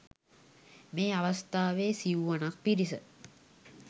මේ අවස්ථාවේ සිවුවනක් පිරිස